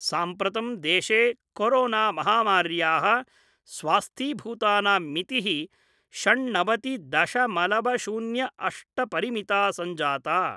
साम्प्रतं देशे कोरोना महामार्याः स्वस्थीभूतानां मिति: षण्णवति दशमलव शून्य अष्ट परिमिता सञ्जाता।